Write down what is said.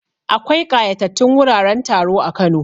Akwai ƙayatatattun wuraren taro a Kano.